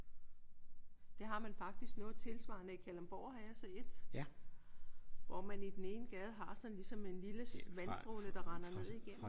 Det har man faktisk noget tilsvarende i Kalundborg har jeg set. Hvor man i den ene gade har sådan ligesom en lille vandstråle der render ned igennem